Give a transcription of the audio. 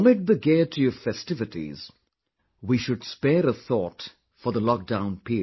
Amid the gaiety of festivities, we should spare a thought for the lockdown period